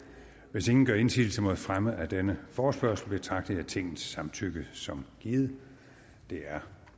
hvis ingen gør indsigelse mod fremme af denne forespørgsel betragter jeg tingets samtykke som givet det er